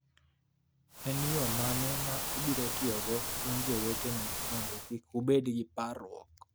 En yo mane ma abiro tiyogo, un jowetena, mondo kik ubed gi parruok.